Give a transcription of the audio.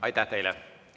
Aitäh teile!